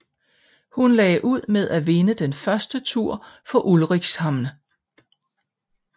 Hun lagde ud med at vinde den første tur for Ulricshamn